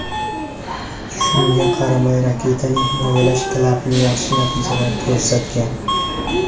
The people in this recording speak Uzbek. Shunga qaramay raketaning himoyalash klapani yaxshi natijalar ko‘rsatgan.